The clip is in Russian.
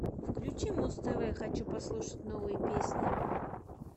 включи муз тв хочу послушать новые песни